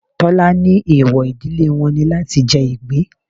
Tọ́lá ní eewọ ìdílé wọn ni láti jẹ ìgbín.